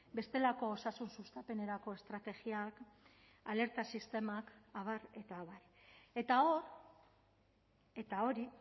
bestelako osasun sustapenerako estrategiak alerta sistemak abar eta abar eta hor eta hori